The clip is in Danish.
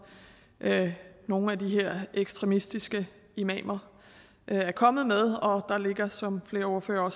nogle af de her ekstremistiske imamer er kommet med og der er som flere ordførere og